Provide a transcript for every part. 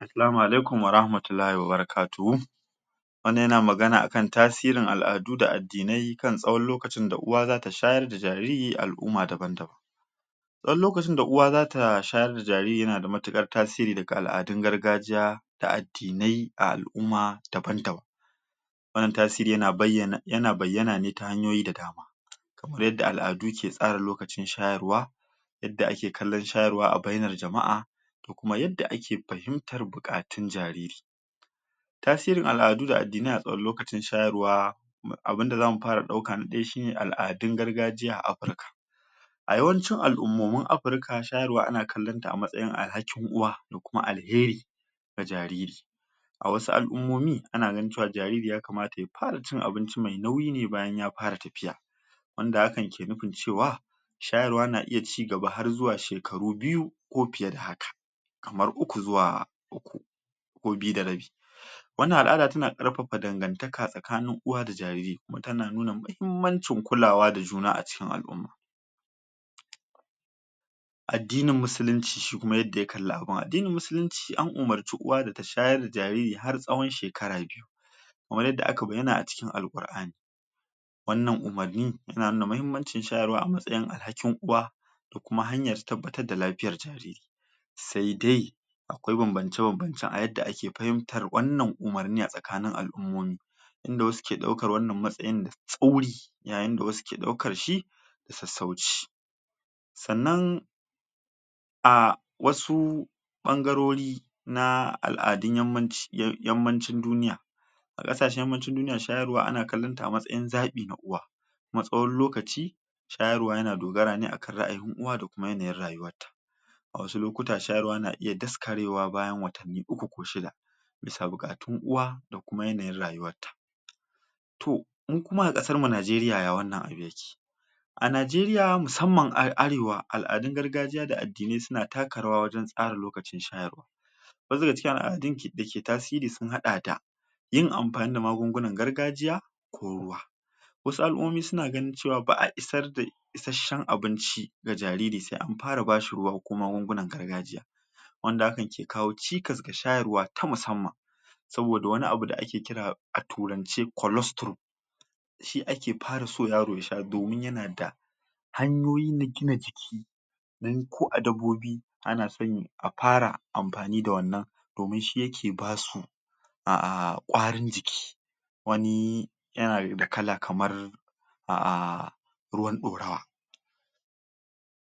Assalamu alaikum warahmatullahi wabarakatuhu wannan yana magana aka tasirin al'adu da addinai kan tsawon lokacin da uwa zata shayar da jariri al'umma ta zartar ɗan lokacin da uwa zata shayar da jariri yana matuƙar tasiri daga al'adun gargajiya da addinai a al'umma daban-daban wannan tasiri yana bayyana ne ta hanyoyi da dama kamar yadda al'adu ke tsara lokacin shayarwa yadda ake kallon shayarwa a bainar jama'a da kuma yadda ake fahimtar buƙatun jariri tasirin al'adu da addinai a tsawan lokacin shayarwa abinda zamu fara ɗauka na ɗaya shi ne al'adun gargajiya a Afirka a yawancin al'umomin Afirka shayarwa ana kallon ta a matsayin alhakin uwa da kuma alheri ga jariri a wasu al'ummomi tana ganin cewa jariri yakamata ya fara cin abinci mai nauyi ne bayan ya fara tafiya wanda hakan ke nufin cewa shayarwa na iya cigaba har zuwa shekaru biyu ko fiye da haka kamar uku zuwa uku ko biyu da rabi wannan al'ada tana ƙarfafa dagantaka tsakanin uwa da jariri kuma tana nuna mahimmancin kulawa da juna a ciki al'umma addinin musulunci shi kuma yadda ya kalli abin, addinin musulunci an umarci uwa da ta shayar da jariri har tsawon shekara biyu kamar yadda aka bayyana a cikin al'ƙur'ani wannan umarni yana nuna mahimmancin shayarwa a matsayin alhakin uwa ko kuma hanyar tabbatar da lafiya jariri sai dai akwai banbance-banbance a yadda ake fahimtar wannan umarnin a tsakanin al'umomi inda wasu ke ɗaukar wannan matsayin da tsauri yayin da wasu ke ɗaukar shi sassauci sannan a wasu ɓangarori na al'adun Yammaci, Yammacin duniya a ƙasashen Yammacin duniya shayarwa ana kallon ta a matsayin zaɓi na uwa kuma tsawon lokaci shayarwa yana dogara ne a kan ra'ayin uwa da kuma yanayin rayuwar ta a wasu lokuta shayarwa na iya daskarewa bayan watanni uku ko shida bisa buƙatun uwa da kuma yanayin rayuwar ta to mu kuma a ƙasar mu Najeriya ya wannan abu yake? A Najeriya musamman a Arewa al'adun gargajiya da addinai suna taka rawa wajen tsara lokacin shayarwa duba da cewa addinin dake tasiri sun haɗa da yin amfani da magungunan gargajiya ko ruwa wasu al'ummomi suna ganin cewa ba'a isar da isashen abinci ga jariri sai an fara ba shi ruwa ko magunguna gargajiya wanda hakan ke kawo cikas ga shayarwa ta musamman saboda wani abu da ake kira a turance colostrum shi ake fara so yaro ya sha domin yana da hanyoyi na gina jiki dan ko a dabbobi ana son a fara amfani da wannan domin shi yake basu ah ƙwarin jiki wani yana da kala kamar a ruwan ɗorawa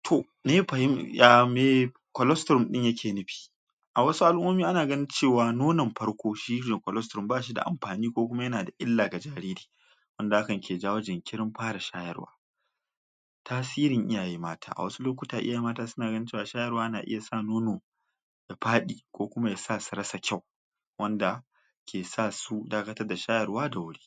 to me colostrum ɗin yake nufi a wasu al'ummomi a ganin cewa nonon farko shi me colostrum ba shi da amfani ko kuma yana da illa ga jariri wanda hakan ke jawo jinkirin fara shayarwa tasirin iyaye mata a wasu lokuta iyaye mata suna ganin cewa shayarwa na iya sa nono faɗi ko kuma yasa su rasa kyau wanda ke sa su dakatar da shayarwa da wuri.